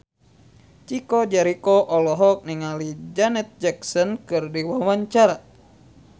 Chico Jericho olohok ningali Janet Jackson keur diwawancara